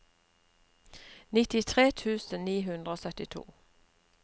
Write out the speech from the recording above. nittitre tusen ni hundre og syttito